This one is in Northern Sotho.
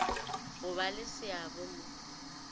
go ba le seabo mo